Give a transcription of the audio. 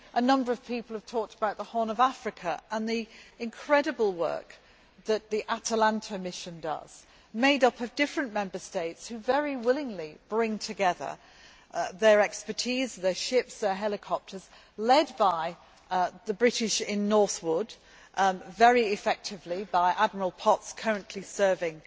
A number of people have talked about the Horn of Africa and the incredible work that the Atalanta Mission does, made up of different Member States which very willingly bring together their expertise, their ships and their helicopters, led by the British in Northwood very effectively by Admiral Potts currently serving